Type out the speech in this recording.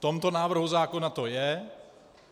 V tomto návrhu zákona to je.